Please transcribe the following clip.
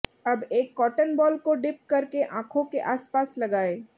अब एक cotton ball को डिप कर के आंखों के आस पास लगाएं